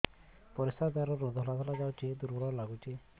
ପରିଶ୍ରା ଦ୍ୱାର ରୁ ଧଳା ଧଳା ଯାଉଚି ଦୁର୍ବଳ ଲାଗୁଚି